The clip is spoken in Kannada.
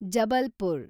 ಜಬಲ್ಪುರ